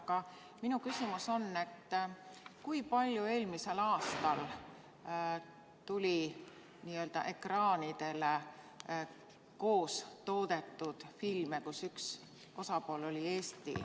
Aga minu küsimus on, et kui palju tuli eelmisel aastal ekraanidele koos toodetud filme, mille üks osapool oli Eesti.